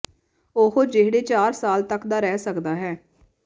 ਉਹ ਜਿਹੜੇ ਚਾਰ ਸਾਲ ਤੱਕ ਦਾ ਰਹਿ ਸਕਦਾ ਹੈ